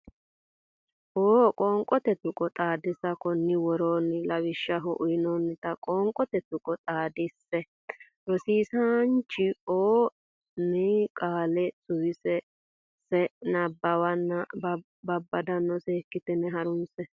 o Qoonqote Tuqqo Xaadisa Konni woroonni lawishshaho uynoonnita qoonqote tuqqo xaadise sse rosiisaanchi o ne qaale suwise sse nabbawanna bbabbanna seekkitine ha runse.